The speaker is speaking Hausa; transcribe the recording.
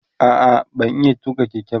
a'a ban iya tuƙa Keke ba